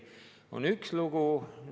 See on üks lugu.